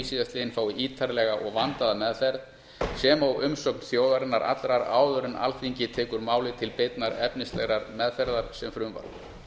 síðastliðinn fái ítarlega og vandaða meðferð sem og umsögn þjóðarinnar allrar áður en alþingi tekur málið til beinnar efnislegrar meðferðar sem frumvarp